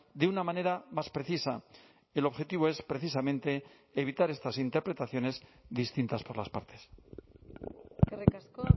de una manera más precisa el objetivo es precisamente evitar estas interpretaciones distintas por las partes eskerrik asko